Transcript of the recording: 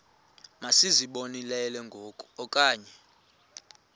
masizibonelele ngoku okanye